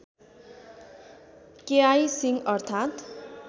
केआई सिंह अर्थात्